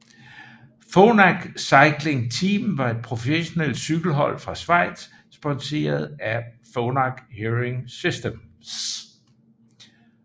Phonak Cycling Team var et professionelt cykelhold fra Schweiz sponseret af Phonak Hearing Systems